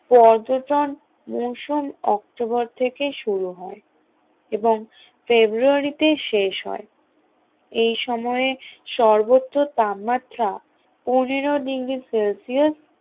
পর্যটন মৌসম অক্টোবর থেকে শুরু হয় সর্বোচ্চ তাপমাত্রাএবং ফেব্রুয়ারিতে শেষ হয় এই সময়ে সর্বোচ্চ তাপমাত্রা পনেরো ডিগ্রী সেলসিয়াস